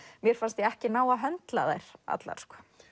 mér fannst ég ekki ná að höndla þær allar